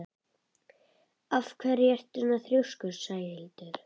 Af hverju ertu svona þrjóskur, Sæhildur?